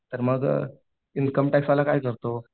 तर मग इनकम टॅक्सवाला काय करतो